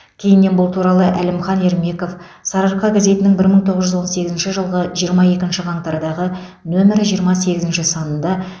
кейіннен бұл туралы әлімхан ермеков сарыарқа газетінің бір мың тоғыз жүз он сегізінші жылғы жиырма екінші қаңтардағы нөмірі жиырма сегізінші санында